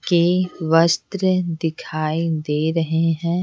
के वस्त्र दिखाई दे रहे हैं।